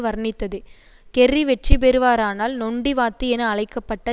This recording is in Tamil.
வர்ணித்தது கெர்ரி வெற்றி பெறுவாரானால் நொண்டி வாத்து என அழைக்க பட்ட